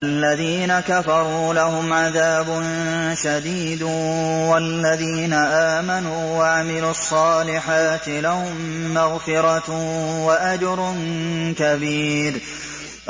الَّذِينَ كَفَرُوا لَهُمْ عَذَابٌ شَدِيدٌ ۖ وَالَّذِينَ آمَنُوا وَعَمِلُوا الصَّالِحَاتِ لَهُم مَّغْفِرَةٌ وَأَجْرٌ كَبِيرٌ